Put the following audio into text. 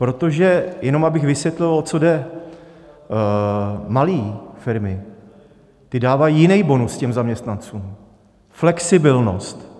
Protože jenom abych vysvětlil, o co jde: malé firmy, ty dávají jiný bonus těm zaměstnancům - flexibilnost.